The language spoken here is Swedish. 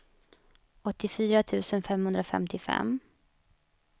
åttiofyra tusen femhundrafemtiofem